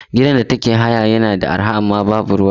Gidan da take haya yana da arha sosai amma babu ruwa.